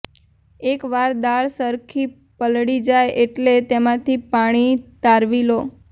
એક વાર દાળ સરખી પલળી જાય એટલે તેમાંથી પાણી તારવી લો